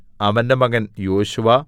അവന്റെ മകൻ യോശുവ